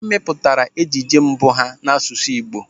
Ha mepụtara ejije mbụ ha n'asụsụ Igbo.